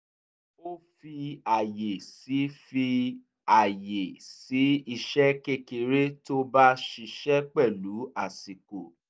ó fi àyè sí fi àyè sí iṣẹ́ kékeré tó bá ṣiṣẹ́ pẹ̀lú àsìkò